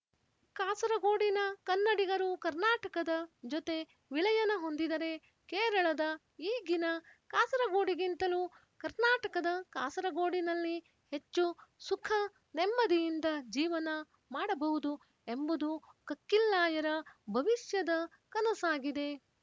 ಕಾಸರಗೋಡಿನ ಕನ್ನಡಿಗರು ಕರ್ನಾಟಕದ ಜೊತೆ ವಿಲಯನ ಹೊಂದಿದರೆ ಕೇರಳದ ಈಗಿನ ಕಾಸರಗೋಡಿಗಿಂತಲೂ ಕರ್ನಾಟಕದ ಕಾಸರಗೋಡಿನಲ್ಲಿ ಹೆಚ್ಚು ಸುಖ ನೆಮ್ಮದಿಯಿಂದ ಜೀವನ ಮಾಡಬಹುದು ಎಂಬುದು ಕಕ್ಕಿಲ್ಲಾಯರ ಭವಿಷ್ಯದ ಕನಸಾಗಿದೆ